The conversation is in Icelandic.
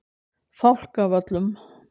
Fálkavöllum